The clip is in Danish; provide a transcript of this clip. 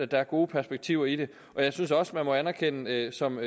der er gode perspektiver i det jeg synes også man må anerkende som